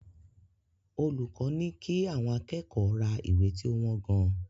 Olùkọ́ ní kí àwọn akẹ́kọ̀ọ́ ra ìwé tí ó wọ́n gan-an.